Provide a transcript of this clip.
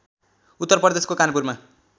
उत्तर प्रदेशको कानपुरमा